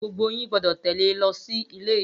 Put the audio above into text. Gbogbo yín gbọdọ̀ tẹ̀lé e lọ sí ile ijosin!